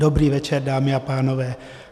Dobrý večer, dámy a pánové.